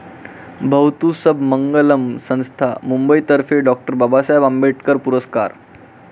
भवतु सब मंगलम संस्था, मुंबईतर्फे 'डॉ. बाबासाहेब आंबेडकर' पुरस्कार.